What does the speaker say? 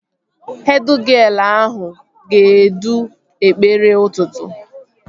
Hed gịel ahụ ga-edu ekpere ụtụtụ